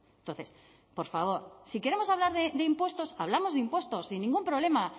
entonces por favor si queremos hablar de impuestos hablamos de impuestos sin ningún problema